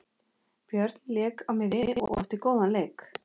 Björn lék á miðjunni og átti góðan leik.